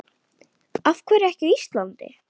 Af hverju ekki á Íslandi?